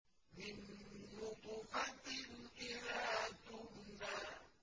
مِن نُّطْفَةٍ إِذَا تُمْنَىٰ